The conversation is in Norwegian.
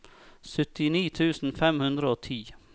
syttini tusen fem hundre og ti